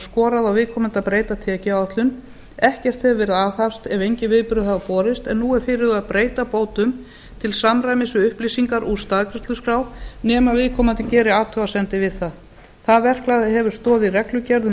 skorað á viðkomandi að breyta tekjuáætlun ekkert hefur verið aðhafst ef engin viðbrögð hafa borist en nú er fyrirhugað að breyta bótum til samræmis við upplýsingar úr staðgreiðsluskrá nema viðkomandi geri athugasemdir við það það verklag hefur stoð í reglugerð um